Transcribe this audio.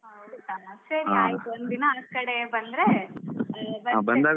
ಹೌದಾ ಸರಿ ಆಯ್ತು ಒಂದು ದಿನ ಆ ಕಡೆ ಬಂದ್ರೆ ಬರ್ತೇನೆ,